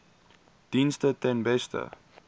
dienste ten beste